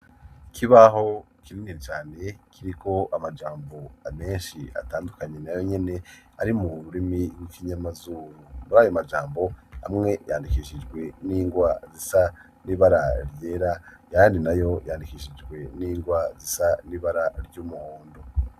Ikibaho kinini cane kiriko amajambo ameshi atandukanye na yo nyene ari mu rurimi w'ikinyamazuru. Muri ayo majambo amwe yandikishijwe n'ingwa zisa n'ibara ryera ayandi nayo yandikishijwe n'ingwa zisa n'ibara ry'umuhondo.